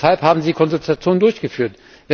Weshalb haben Sie die Konsultation durchgeführt?